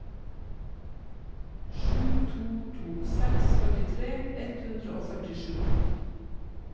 sju to to seks førtitre ett hundre og førtisju